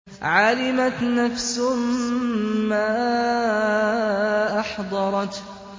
عَلِمَتْ نَفْسٌ مَّا أَحْضَرَتْ